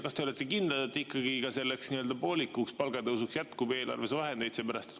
Kas te olete kindel, et selleks poolikuks palgatõusuks jätkub eelarves vahendeid?